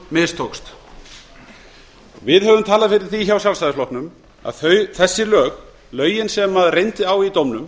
mistókst við hjá sjálfstæðisflokknum höfum talað fyrir því að þessi lög lögin sem reyndi á í dómnum